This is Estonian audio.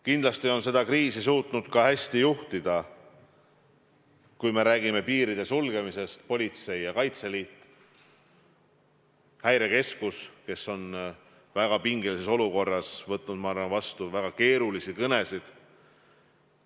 Kindlasti on seda kriisi suutnud ka hästi juhtida, kui me räägime piiride sulgemisest, politsei ja Kaitseliit, Häirekeskus, kes on väga pingelises olukorras võtnud vastu, ma arvan, väga keerulisi kõnesid.